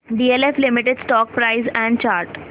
DLF limited stock price and chart